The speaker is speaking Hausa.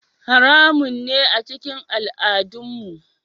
Haramun ne a cikin al'adunmu.